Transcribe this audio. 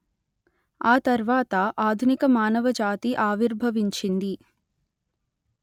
ఆ తర్వాత ఆధునిక మానవ జాతి ఆవిర్భవించింది